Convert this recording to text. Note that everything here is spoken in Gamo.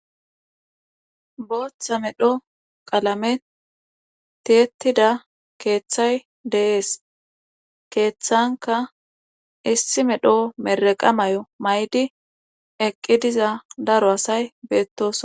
Bootha medho qalamen tiyettida keethay de7ees keethankka issi medho mirreqa mayo mayidi eqqi diza daro asay beettoosona.